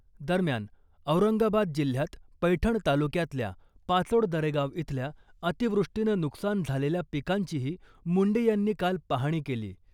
दरम्यान , औरंगाबाद जिल्ह्यात पैठण तालुक्यातल्या पाचोड दरेगाव इथल्या अतिवृष्टीनं नुकसान झालेल्या पिकांचीही मुंडे यांनी काल पाहणी केली .